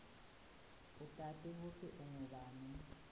utati kutsi ungubani